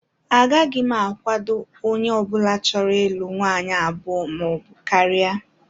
Agaghị m akwado onye ọbụla chọrọ ịlụ nwaanyị abụọ maọbụ karịa